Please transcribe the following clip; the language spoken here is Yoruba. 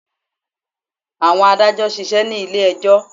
Àwọn adàjọ̀ ṣisẹ́ ní ilé ẹjọ́.